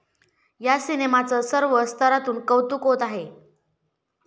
या सिनेमाचं सर्व स्तरातून कौतुक होत आहे.